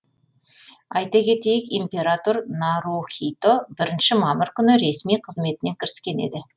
айта кетейік император нарухито бірінші мамыр күні ресми қызметіне кіріскен еді